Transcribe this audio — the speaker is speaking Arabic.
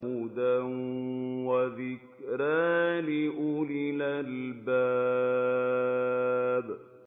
هُدًى وَذِكْرَىٰ لِأُولِي الْأَلْبَابِ